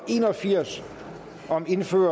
og firs